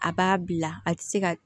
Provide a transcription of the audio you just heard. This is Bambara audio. A b'a bila a tɛ se ka